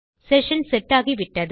session set ஆகிவிட்டது